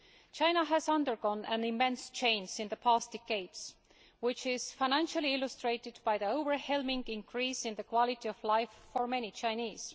China has undergone an immense change in the past decades, which is financially illustrated by the overwhelming increase in the quality of life for many Chinese.